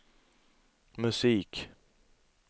musik